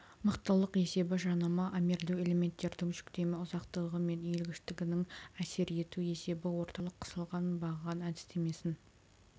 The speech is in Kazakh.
мықтылық есебі жанама армирлеу элементтердің жүктеме ұзақтығы мен иілгіштігінің әсер ету есебі орталық қысылған баған әдістемесін